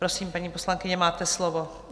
Prosím, paní poslankyně, máte slovo.